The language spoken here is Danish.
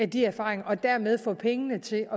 de erfaringer og dermed få pengene til